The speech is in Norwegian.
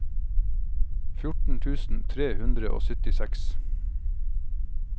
fjorten tusen tre hundre og syttiseks